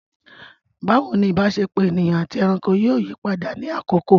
Bawo ni ìbáṣepọ̀ ènìyàn àti ẹranko yóò yí padà ní àkókò?